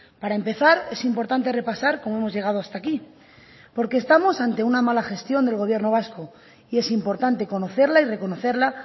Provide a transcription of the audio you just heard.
para empezar es importante repasar cómo hemos llegado hasta aquí porque estamos ante una mala gestión del gobierno vasco y es importante conocerla y reconocerla